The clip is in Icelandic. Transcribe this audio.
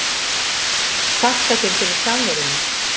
Þakka þér fyrir samveruna.